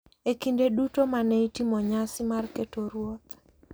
E kinde duto ma ne itimo nyasi mar keto ruoth,